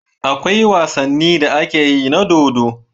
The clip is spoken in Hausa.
Akwai wasanin da akeyi na dodo